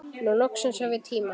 Nú loksins hef ég tíma.